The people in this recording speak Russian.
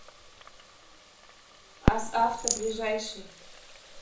асавто ближайший